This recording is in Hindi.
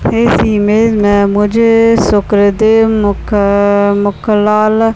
इस इमेज में मुझे शुक्र देव मुख मुकलाल --